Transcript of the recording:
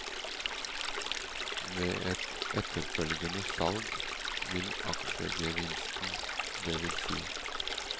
Ved et etterfølgende salg vil aksjegevinsten, dvs.